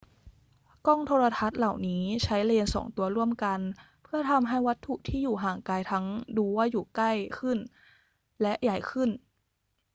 กล้องโทรทรรศน์เหล่านี้ใช้เลนส์สองตัวร่วมกันเพื่อทำให้วัตถุที่อยู่ห่างไกลทั้งดูว่าอยู่ใกล้ขึ้นและใหญ่ขึ้น